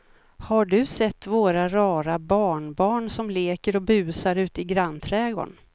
Har du sett våra rara barnbarn som leker och busar ute i grannträdgården!